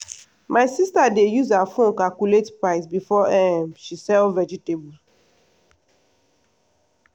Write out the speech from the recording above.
my sister dey use her phone calculate price before um she sell vegetable.